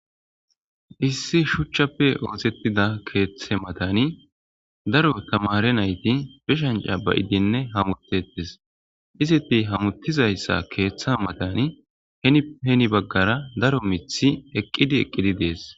Issi shuchchappe oosettida keeththe matani daro tamare nayti beshanca bayidinne hamutetis, iziti hamuttizayssa keeththe matani heni baggara daro mithi eqqidi eqqidi dees.